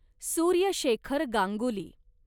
Surya Shekhar Ganguly